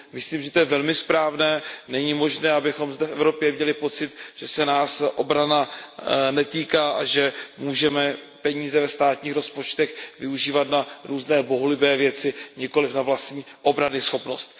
Myslím, že je to velmi správné, není možné, abychom zde v Evropě měli pocit, že se nás obrana netýká a že můžeme peníze ve státních rozpočtech využívat na různé bohulibé věci, nikoli na vlastní obranyschopnost.